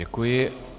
Děkuji.